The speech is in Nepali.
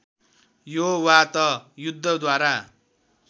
यो वा त युद्धद्वारा